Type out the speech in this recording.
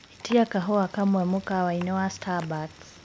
ĩtĩa kahũa kamwe mũkawaĩni wa starbucks